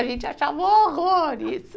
A gente achava um horror isso.